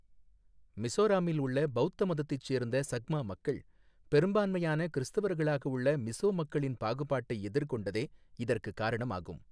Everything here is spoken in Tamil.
மிஸோராம்மில் உள்ள பௌத்த மதத்தைச் சேர்ந்த சக்மா மக்கள், பெரும்பான்மையான கிறிஸ்துவர்களாக உள்ள மிஸோ மக்களின் பாகுபாட்டை எதிர்கொண்டதே இதற்குக் காரணமாகும்.